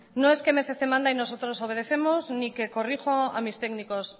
no es que mil doscientos manda y nosotros obedecemos ni que corrijo a mis técnicos